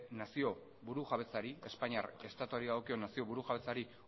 espainiar estatuari dagokion nazio burujabetzari